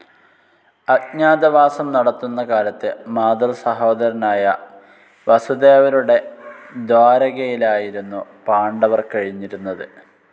അജ്ഞാതവാസം നടത്തുന്ന കാലത്ത് മാതൃസഹോദരനായ വസുദേവരുടെ ദ്വാരകയിലായിരുന്നു പാണ്ഡവർ കഴിഞ്ഞിരുന്നത്.